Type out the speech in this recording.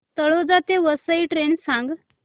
तळोजा ते वसई ट्रेन सांग